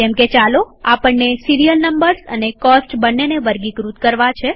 જેમકેચાલો આપણને serial numbers અને cost બંનેને વર્ગીકૃત કરવા છે